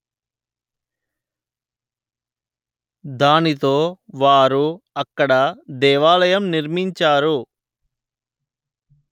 దానితో వారు అక్కడ దేవాలయం నిర్మించారు